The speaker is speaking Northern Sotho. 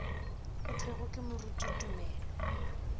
go thwego ke moruti tumelo